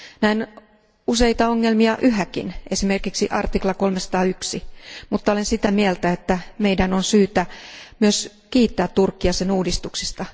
Näen useita ongelmia yhäkin, esimerkiksi artikla 301, mutta olen sitä mieltä, että meidän on myös syytä kiittää Turkkia sen uudistuksista.